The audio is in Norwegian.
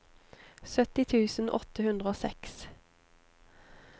sytti tusen åtte hundre og seks